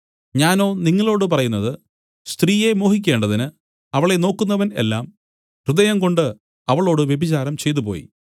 ഞാനോ നിങ്ങളോടു പറയുന്നത് സ്ത്രീയെ മോഹിക്കേണ്ടതിന് അവളെ നോക്കുന്നവൻ എല്ലാം ഹൃദയംകൊണ്ട് അവളോട് വ്യഭിചാരം ചെയ്തുപോയി